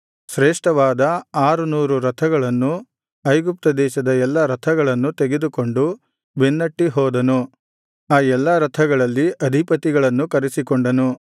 ಶ್ರೇಷ್ಠವಾದ ಆರುನೂರು ರಥಗಳನ್ನೂ ಐಗುಪ್ತ ದೇಶದ ಎಲ್ಲಾ ರಥಗಳನ್ನೂ ತೆಗೆದುಕೊಂಡು ಬೆನ್ನಟ್ಟಿ ಹೋದನು ಆ ಎಲ್ಲಾ ರಥಗಳಲ್ಲಿ ಅಧಿಪತಿಗಳನ್ನೂ ಕರೆಸಿ ಕೊಂಡನು